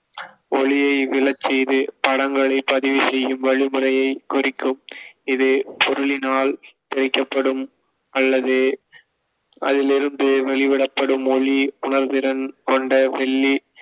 ஒளியை விழச்செய்து படங்களைப் பதிவு செய்யும் வழிமுறையைக் குறிக்கும். ஒரு பொருளினால் தெறிக்கப்படும் அல்லது அதிலிருந்து வெளிவிடப்படும் ஒளி, உணர்திறன் கொண்ட வெள்ளி